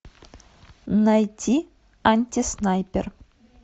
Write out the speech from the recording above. найти антиснайпер